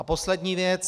A poslední věc.